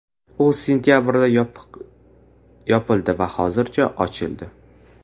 U sentabrda yopildi va hozir ochildi.